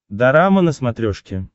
дорама на смотрешке